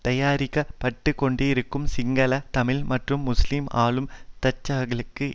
தயாரிக்கப்பட்டுக் கொண்டிருக்கும் சிங்கள தமிழ் மற்றும் முஸ்லிம் ஆளும் தட்டுக்களுக்கு